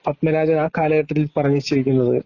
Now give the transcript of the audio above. പദ്‌മരാജൻ ആ കാലഘട്ടത്തിൽ പറഞ്ഞ